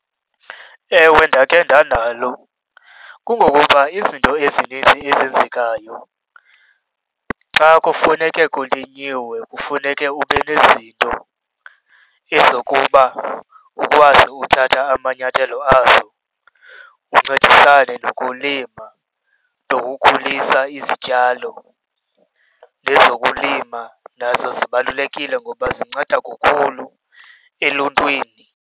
Ewe, ndakhe ndanalo. Kungokuba izinto ezininzi ezenzekayo xa kufuneke kulinyiwe kufuneke ube nezinto ezokuba ukwazi uthatha amanyathelo azo, uncedisane nokulima nokukhulisa izityalo. Nezokulima nazo zibalulekile ngoba zinceda kakhulu eluntwini.